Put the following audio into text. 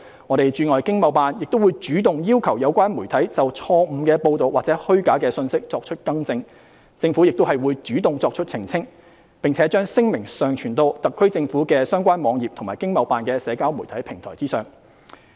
各駐海外經貿辦會主動要求有關媒體就錯誤報道或虛假信息作出更正，政府亦會主動作出澄清，並將聲明上傳到特區政府的相關網頁及經貿辦的社交媒體平台上。